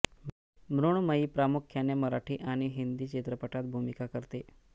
मृण्मयी प्रामुख्याने मराठी आणि हिंदी चित्रपटात भूमिका करते